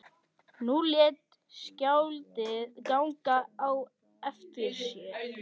Nú lét skáldið ganga á eftir sér.